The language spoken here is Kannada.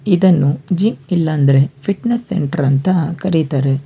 ಇದನ್ನು ಜಿಮ್ ಇಲ್ಲ ಅಂದ್ರೆ ಫಿಟನೆಸ್ ಸೆಂಟರ್ ಅಂತ ಕರಿತಾರೆ.